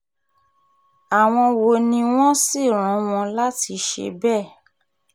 àwọn wo ni wọ́n sì rán wọn láti ṣe bẹ́ẹ̀